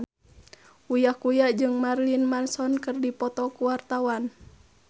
Uya Kuya jeung Marilyn Manson keur dipoto ku wartawan